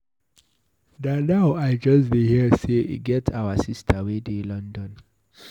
Na now I just dey hear say e get our sister wey dey London